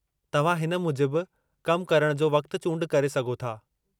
तव्हां हिन मुजिबु कम करणु जो वक़्तु चूंड करे सघो था।